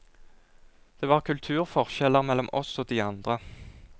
Det var kulturforskjeller mellom oss og de andre.